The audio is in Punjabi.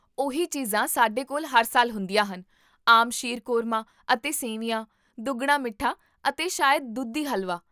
ਉਹੀ ਚੀਜ਼ਾਂ ਸਾਡੇ ਕੋਲ ਹਰ ਸਾਲ ਹੁੰਦੀਆਂ ਹਨ, ਆਮ ਸ਼ੀਰਕੁਰਮਾ ਅਤੇ ਸੇਵੀਆਂ, ਦੁੱਗਣਾ ਮਿੱਠਾ, ਅਤੇ ਸ਼ਾਇਦ ਦੁਧੀ ਹਲਵਾ